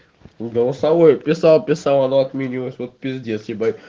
голосовое писал писал оно отменилось вот пиздец ебать